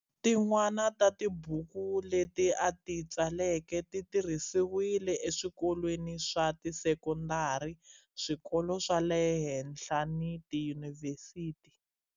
Tin'wana ta tibuku leti a ti tsaleke ti tirhisiwile eswikolweni swa tisekondari, swikolo swa le henhla ni tiyunivhesiti.